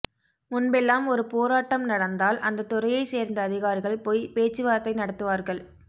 முன்பெல்லாம் ஒரு போராட்டம் நடந்தால் அந்தத் துறையைச் சேர்ந்த அதிகாரிகள் போய் பேச்சு வார்த்தை நடத்துவார்கள்